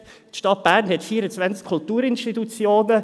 Die Stadt Bern hat 24 Kulturinstitutionen.